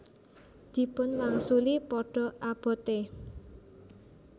Dipun wangsuli Padha abote